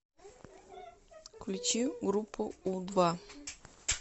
включи группу у два